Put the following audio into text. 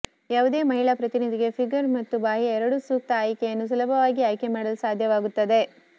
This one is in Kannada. ಯಾವುದೇ ಮಹಿಳಾ ಪ್ರತಿನಿಧಿಗೆ ಫಿಗರ್ ಮತ್ತು ಬಾಹ್ಯ ಎರಡೂ ಸೂಕ್ತ ಆಯ್ಕೆಯನ್ನು ಸುಲಭವಾಗಿ ಆಯ್ಕೆ ಮಾಡಲು ಸಾಧ್ಯವಾಗುತ್ತದೆ